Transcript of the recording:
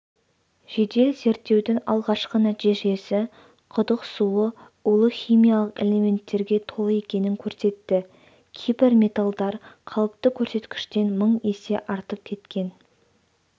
жедел зерттеудің алғашқы нәтижесі құдық суы улы химиялық элементтерге толы екенін көрсетті кейбір металдар қалыпты көрсеткіштен мың есе артып кеткен